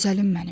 Gözəlim mənim.